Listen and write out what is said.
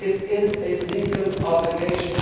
It is a legal obligation.